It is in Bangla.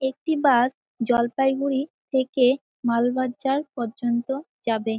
একটি বাস জলপাইগুড়ি থেকে মালবাজার পর্যন্ত যাবে।